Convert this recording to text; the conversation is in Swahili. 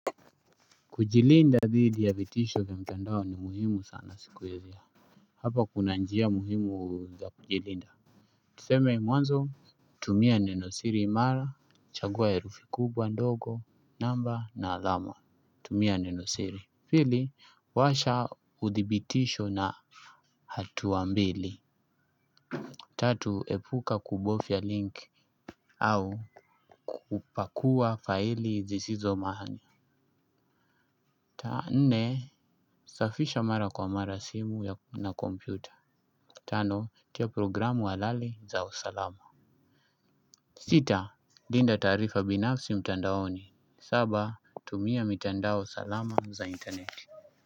Kujilinda dhidi ya vitisho vya mtandao ni muhimu sana sikuizi. Hapa kuna njia muhimu za kujilinda. Tuseme mwanzo. Tumia nenosiri imara, chagua ya herufi kubwa ndogo, namba na adhamwa, tumia nenosiri. Pili washa uthibitisho na hatuwa mbili. Tatu, epuka kubofya link au kupakua faili zizizo maana. Nne, safisha mara kwa mara simu na komputa. Tano, tia programu halali za usalama. Sita, dinda tarifa binafsi mtandaoni. Saba, tumia mitandao salama za interneti.